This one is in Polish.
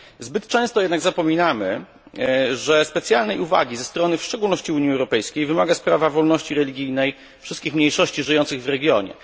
Zbyt często jednak zapominamy, że specjalnej uwagi ze strony w szczególności Unii Europejskiej wymaga sprawa wolności religijnej wszystkich mniejszości żyjących w regionie.